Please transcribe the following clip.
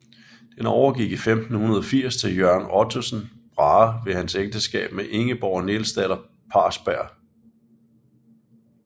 Den overgik i 1580 til Jørgen Ottesen Brahe ved hans ægteskab med Ingeborg Nielsdatter Parsberg